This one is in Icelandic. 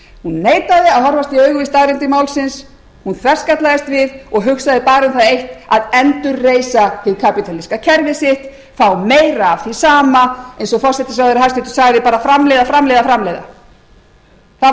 hún neitaði að horfast í augu við staðreyndir málsins hún þverskallaðist við og hugsaði bara um það eitt að endurreisa hið kapítalíska kerfi sitt fá meira af því sama eins og hæstvirtur forsætisráðherra sagði bara framleiða framleiða framleiða það